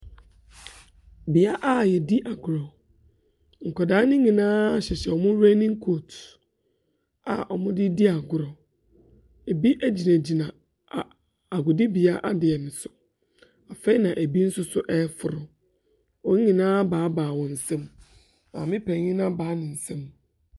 Beaeɛ a yedi agorɔ. Nkɔdaa nyinaa hyehyɛ ɔmo renin kot a ɔmo de di agorɔ. Ebi mo egyina gyina agodini adeɛ bi so. Afei na ebi nso so ɛforo. Wɔn nyinaa abaabaa wɔn nsam. Maame payin no abaa ne nsam.